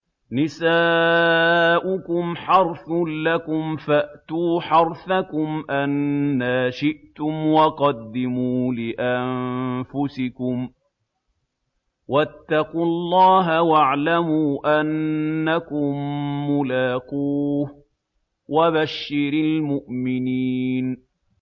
نِسَاؤُكُمْ حَرْثٌ لَّكُمْ فَأْتُوا حَرْثَكُمْ أَنَّىٰ شِئْتُمْ ۖ وَقَدِّمُوا لِأَنفُسِكُمْ ۚ وَاتَّقُوا اللَّهَ وَاعْلَمُوا أَنَّكُم مُّلَاقُوهُ ۗ وَبَشِّرِ الْمُؤْمِنِينَ